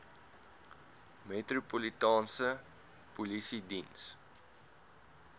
metropolitaanse polisie diens